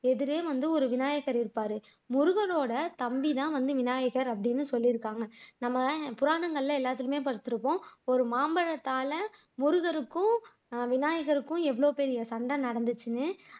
எதிரே வந்து ஒரு விநாயகர் இருப்பார் முருகனோட தம்பிதான் வந்து விநாயகர் அப்படின்னு சொல்லியிருக்காங்க நம்ம புராணங்கள்ல எல்லாமே படிச்சிருக்கோம் ஒரு மாம்பலத்தால முருகருக்கும் விநாயகருக்கும் எவ்வலாவு பெரிய சண்டை நடந்துச்சுன்னு